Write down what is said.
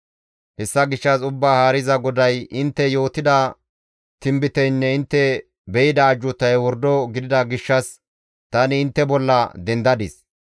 Hessa gishshas Ubbaa Haariza GODAY, «Intte yootida tinbiteynne intte be7ida ajjuutay wordo gidida gishshas tani intte bolla dendadis.